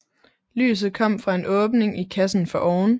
Lyset kom fra en åbning i kassen foroven